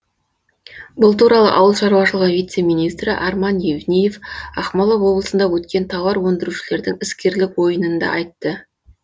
бұл туралы ауыл шаруашылығы вице министрі арман евниев ақмола облысында өткен тауар өндірушілердің іскерлік ойынында айтты